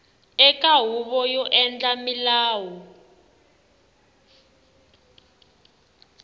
eka huvo yo endla milawu